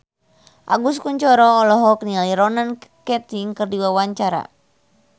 Agus Kuncoro olohok ningali Ronan Keating keur diwawancara